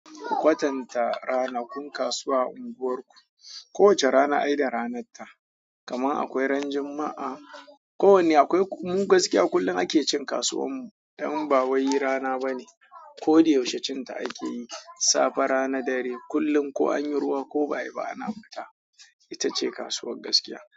Ku kwatanta ranakun kasuwa a unguwarku. Kowace rana ai da ranarta, kamar akwai ran Juma'a. Ko wanne akwai mu gaskiya kullum ake cin kasuwar mu dan ba wai rana bane. Ko da yaushe cinta ake yi. Safe rana dare, kullum ko anyi ruwa ko ba'ayi ba ana fita. Ita ce kasuwar gaskiya.